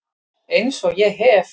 Eins og ég hef